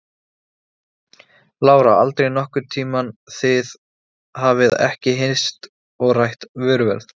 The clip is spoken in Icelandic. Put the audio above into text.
Lára: Aldrei nokkurn tíman, þið hafið ekki hist og rætt vöruverð?